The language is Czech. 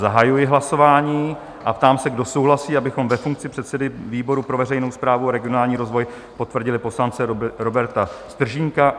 Zahajuji hlasování a ptám se, kdo souhlasí, abychom ve funkci předsedy výboru pro veřejnou správu a regionální rozvoj potvrdili poslance Roberta Stržínka?